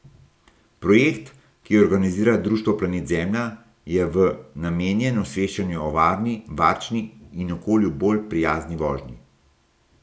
Projekt, ki ga organizira društvo Planet Zemlja, je v namenjen osveščanju o varni, varčni in okolju bolj prijazni vožnji.